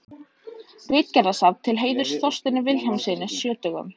Ritgerðasafn til heiðurs Þorsteini Vilhjálmssyni sjötugum.